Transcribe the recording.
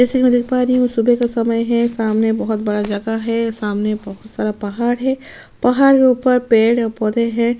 जैसे मैं देख पा रही हूँ ये सुबह का समय है सामने बहुत बड़ा जगह है सामने बहुत सारा पहाड़ है पहाड़ के उपर पेड़ और पौधे है।